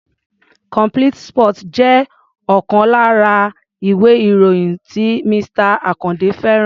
Complete sports jẹ́ ọ̀kan lára ìwé-ìròyìn tí Mr. Àkàndé fẹ́ràn.